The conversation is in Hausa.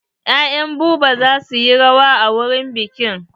Ya'yan Buba za suyi rawa a wurin biƙin.